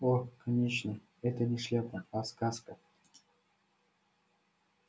о конечно это не шляпа а сказка